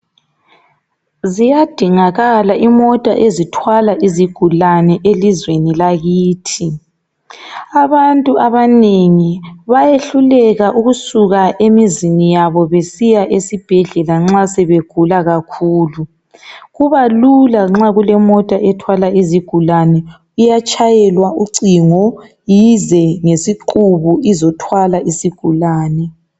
Ziyadingakala imota ezithwala izigulane elizweni lakithi. Abantu abanengi bayehluleka ukusuka emizini yabo besiya esibhedlela nxa sebegula kakhulu, kuba lula nxa kulemota ethwala izigulane iyatshayelwa ucingo ize ngesiqubu izothwala isigulane